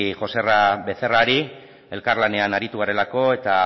joserra becerrari elkarlanean aritu garelako eta